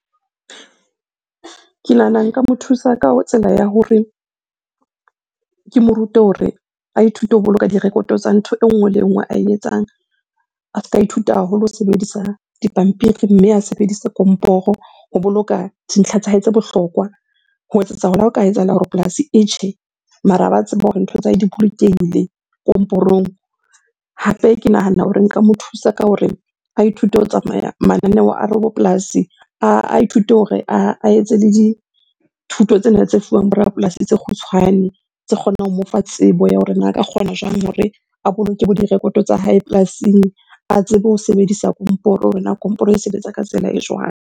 Ke nahana nka mo thusa ka tsela ya hore ke mo rute hore a ithute ho boloka di-record-o tsa ntho e nngwe le e nngwe ae etsang. A ska ihuta haholo ho sebedisa dipampiri, mme a sebedisa komporo ho boloka dintlha tsa hae tse bohlokwa. Ho etsetsa hore ha o ka etsahala hore polasi e tjhe, mara a ba tsebe hore ntho tsa hae di bolokehile komporong. Hape ke nahana hore nka mo thusa ka hore a ithute ho tsamaya mananeo a rabopolasi, a ithute hore a etse le dithuto tsena tse fuwang bo rapolasi tse kgutshwane tse kgonang ho mo fa tsebo ya hore na a ka kgona jwang hore a boloke bo di-record-o tsa hae polasing? A tsebe ho sebedisa komporo hore na komporo e sebetsa ka tsela e jwang?